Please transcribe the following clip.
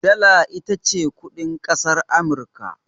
Dala ita ce kuɗin ƙasar Amurka.